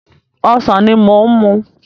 Ọsàn ni mò ń mú.